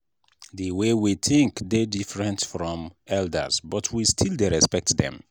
the way we think dey different from elders but we still dey respect dem.